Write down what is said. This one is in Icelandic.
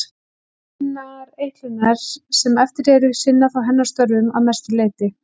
Hinar eitlurnar sem eftir eru sinna þá hennar störfum að mestu leyti.